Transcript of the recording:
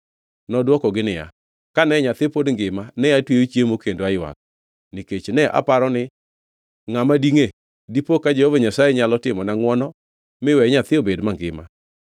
Nodwokogi niya, “Kane nyathi pod ngima ne atweyo chiemo kendo aywak. Nikech ne aparo ni, ‘Ngʼama dingʼe? Dipo ka Jehova Nyasaye nyalo timona ngʼwono miwe nyathi obed mangima.’